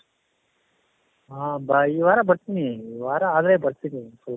ಹ ಈ ವಾರ ಬರ್ತೀನಿ ಈ ವಾರ ಆದರೆ ಬರ್ತೀನಿ